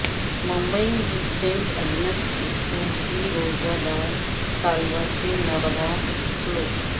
ممبئی میں Saint Agnes School کی روزہ دار طالبہ سے ناروا سلوک